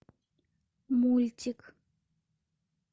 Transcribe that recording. мультик